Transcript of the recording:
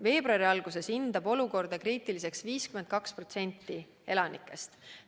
Veebruari alguses hindab olukorda kriitiliseks 52% elanikest.